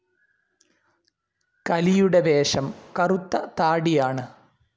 കലിയുടെ വേഷം കറുത്ത താടിയാണ്.